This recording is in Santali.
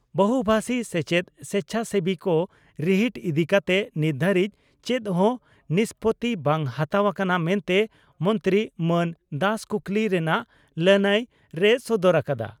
ᱵᱚᱦᱩᱵᱷᱟᱥᱤ ᱥᱮᱪᱮᱫ ᱥᱮᱪᱷᱟᱥᱮᱵᱤ ᱠᱚ ᱨᱤᱦᱤᱴ ᱤᱫᱤ ᱠᱟᱛᱮ ᱱᱤᱛ ᱫᱷᱟᱹᱨᱤᱡ ᱪᱮᱫ ᱦᱚᱸ ᱱᱤᱥᱯᱳᱛᱤ ᱵᱟᱝ ᱦᱟᱛᱟᱣ ᱟᱠᱟᱱᱟ ᱢᱮᱱᱛᱮ ᱢᱚᱱᱛᱨᱤ ᱢᱟᱱ ᱫᱟᱥ ᱠᱩᱠᱞᱤ ᱨᱮᱱᱟᱜ ᱞᱟᱹᱱᱟᱹᱭ ᱨᱮᱭ ᱥᱚᱫᱚᱨ ᱟᱠᱟᱫᱼᱟ ᱾